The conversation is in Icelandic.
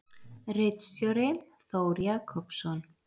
Ritstjóri: Þór Jakobsson.